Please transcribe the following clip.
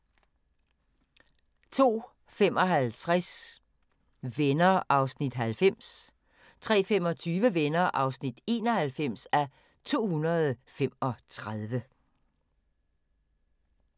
02:55: Venner (90:235) 03:25: Venner (91:235)